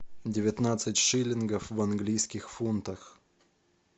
девятнадцать шиллингов в английских фунтах